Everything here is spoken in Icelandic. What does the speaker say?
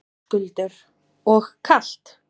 Höskuldur: Og kalt?